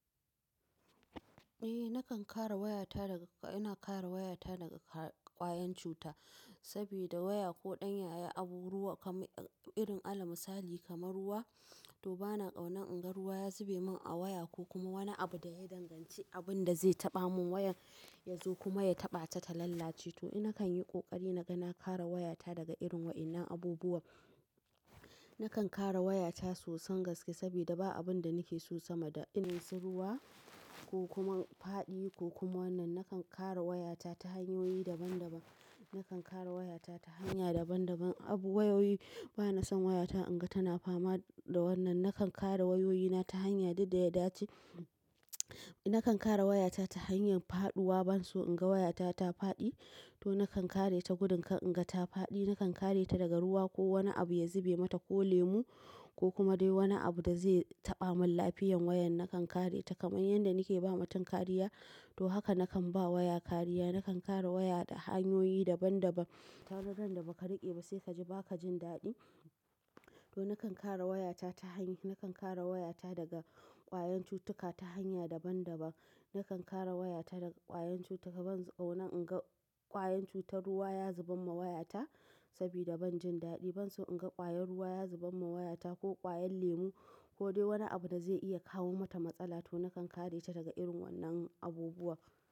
Eh, nakan kara wayata daga, ina kara wayata daga ƙwayen cuta saboda waya ko ɗan yayi abu ruwa kamar irin alam sali kamar ruwa to bana ƙaunar in ga ruwa ya zube min a waya ko kuma wani abu da ya danganci abun da zai taɓa mun wayan ya zo kuma ya taɓa ta ta lalace to ina kan yi ƙoƙari na ga na kara wayata daga irin waɗannan abubuwa. Nakan kara wayata sosan gaske saboda ba abun da nake so sama da irin su ruwa ko kuma faɗi ko kuma wannan. Nakan kara wayata ta hanyoyi daban daban, nakan kara wayata ta hanya daban daban. Abu wayoyi bana son wayata in ga tana fama da wannan. Nakan kara wayoyina ta hanya dak da ya dace. Nakan kara wayata ta hanyar faɗuwa ban so in ga wayata ta faɗi to nakan kareta gudun in ga ta faɗi. Nakan kareta daga ruwa ko wani abu ya zube mata ko lemu ko kuma dai wani abu da zai taɓa mun lafiyan wayan nakan kareta kamar yadda nake ba matan kariya to haka nakan ba waya kariya. Nakan kara waya da hanyoyi daban daban. Kaga ran da baka riƙe ba sai kaji baka jin daɗi to nakan kara wayata ta hanya. Nakan kara wayata daga ƙwayen cutuka ta hanya daban daban. Nakan kara wayata daga ƙwayen cutuka ban ƙaunar in ga ƙwayen cutar ruwa ya zuba ma wayata saboda ban jin daɗi ban. So in ga ƙwayar ruwa ya zuba ma wayata ko ƙwayar lemu ko dai wani abu da zai iya kawo mata matsala to nakan kareta daga irin wannan abubuwa.